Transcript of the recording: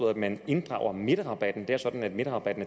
at man inddrager midterrabatten det er sådan at midterrabatten